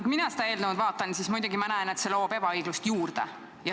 Kui mina seda eelnõu vaatan, siis muidugi ma näen, et see loob ebaõiglust juurde.